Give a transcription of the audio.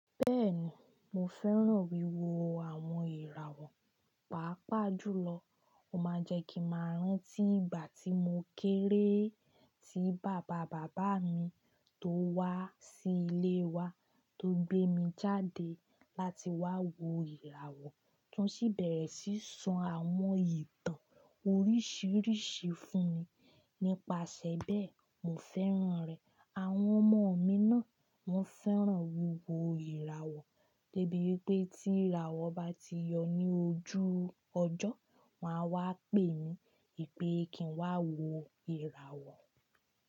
Bẹ́ẹ̀ni, mo fẹ́ràn wíwo àwọn ìràwọ̀, pàápàá jùlọ. Ó máa ń jẹ́ kí màá rántí ìgbà tí mo kéré tí bàba bàbá mi tó wá sí ilé wa tó gbé mi jáde láti wá wo ìràwọ̀, tún ṣíbẹ̀ ṣíṣan àwọn ìtàn oríṣìíríṣìí fún mi. Nípasẹ̀ bẹ́ẹ̀, mo fẹ́ràn rẹ̀. Àwọn ọmọ mi náà máa ń fẹ́ràn wíwo ìràwọ̀, débi wipé tí ìràwọ̀ bá ti yọ ní ojú ọjọ́, wọ́n máa wá pè mí pé kí n wá wo ìràwọ̀.